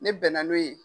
Ne bɛn na n'o ye